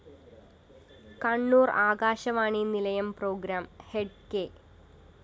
കണ്ണൂര്‍ ആകാശവാണി നിലയം programme head K